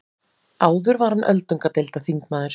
Áður var hann öldungadeildarþingmaður